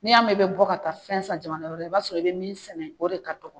N'i y'a mɛn i bɛ bɔ ka taa fɛn san jamana wɛrɛ la i b'a sɔrɔ i bɛ min sɛnɛ o de ka dɔgɔ